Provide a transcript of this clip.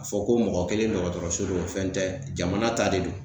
a fɔ ko mɔgɔ kelen dɔgɔtɔrɔso do o fɛn tɛ jamana ta de do.